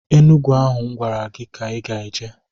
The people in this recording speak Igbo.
Enugu ahụ m gwara gị ka ị ga-eje!